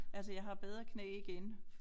Altså jeg har bedre knæ igen